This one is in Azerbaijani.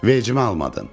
Vecimə almadım.